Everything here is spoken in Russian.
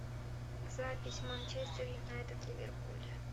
запись манчестер юнайтед ливерпуль